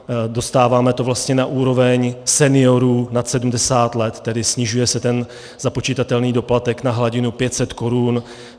Dostáváme to vlastně na úroveň seniorů nad 70 let, tedy snižuje se ten započitatelný doplatek na hladinu 500 korun.